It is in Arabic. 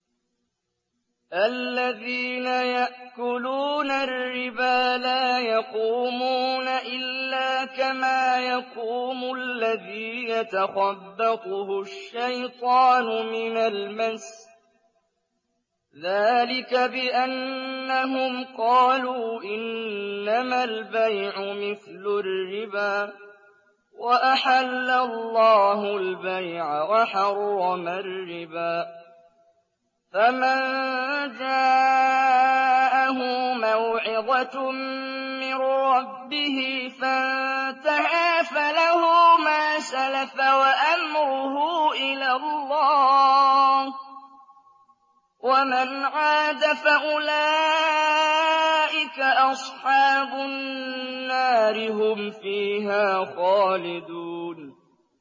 الَّذِينَ يَأْكُلُونَ الرِّبَا لَا يَقُومُونَ إِلَّا كَمَا يَقُومُ الَّذِي يَتَخَبَّطُهُ الشَّيْطَانُ مِنَ الْمَسِّ ۚ ذَٰلِكَ بِأَنَّهُمْ قَالُوا إِنَّمَا الْبَيْعُ مِثْلُ الرِّبَا ۗ وَأَحَلَّ اللَّهُ الْبَيْعَ وَحَرَّمَ الرِّبَا ۚ فَمَن جَاءَهُ مَوْعِظَةٌ مِّن رَّبِّهِ فَانتَهَىٰ فَلَهُ مَا سَلَفَ وَأَمْرُهُ إِلَى اللَّهِ ۖ وَمَنْ عَادَ فَأُولَٰئِكَ أَصْحَابُ النَّارِ ۖ هُمْ فِيهَا خَالِدُونَ